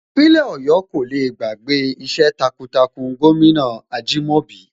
Ìpínlẹ̀ Ọ̀yọ́ kò le gbàgbé iṣẹ́ takuntakun gómìnà Ajìmọ́bi